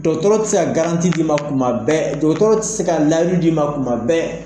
Dɔgɔtɔrɔ tɛ se ka garanti di ma kuma bɛɛ, dɔgɔtɔrɔ tɛ se ka layidu di ma kuma bɛɛ.